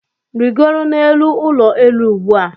Rigoro n'elu ụlọ elu ugbu a!